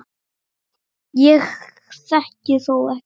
Ég þekki þó ekki margar.